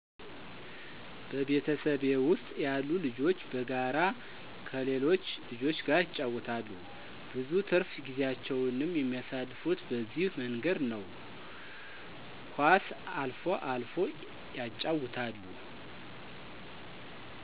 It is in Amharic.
በቤተሰቤ ውስጥ ያሉ ልጆች በጋራ ከሌሎች ልጆች ጋር ይጫወታሉ። ብዙ ትርፍ ጊዜያቸውንም የሚያሳልፉት በዚህ መንገድ ነው። ኳስ አልፎ አልፎ ያጫውታሉ